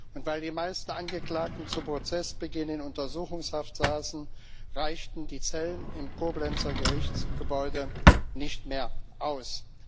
Und weil die meisten Angeklagten zu Prozessbeginn in Untersuchungshaft saßen, reichten die Zellen im Koblenzer Gerichtsgebäude nicht mehr aus.